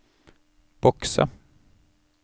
bokse